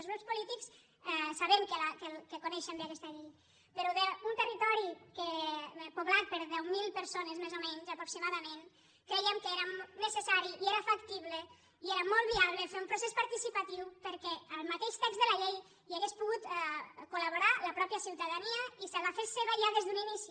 els grups polítics sabem que coneixen bé aquesta llei però un territori poblat per deu mil per·sones més o menys aproximadament crèiem que era necessari i que era factible i era molt viable fer un pro·cés participatiu perquè en el mateix text de la llei hi hagués pogut col·la fes seva ja des d’un inici